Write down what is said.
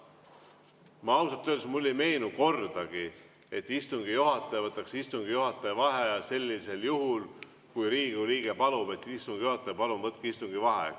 Mulle ausalt öeldes ei meenu kordagi, et istungi juhataja võtaks istungi juhataja vaheaja sellisel juhul, kui Riigikogu liige palub, et istungi juhataja, palun võtke istungi vaheaeg.